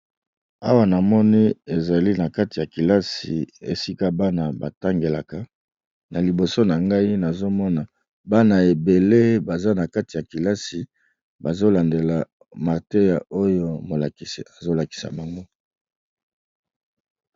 Awa na moni ezali na kati ya kilasi esika bana ba tangelaka na liboso na ngai nazo mona bana ebele baza na kati ya kilasi bazo landela mateya oyo molakisi azo lakisa bango.